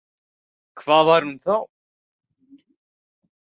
Hvað var hún þá?